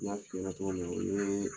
N y'a f'i ɲɛna cogo min na o ye